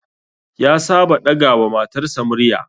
Ya saba ɗaga wa matarsa murya